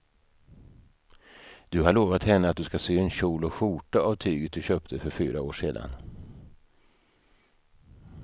Du har lovat henne att du ska sy en kjol och skjorta av tyget du köpte för fyra år sedan.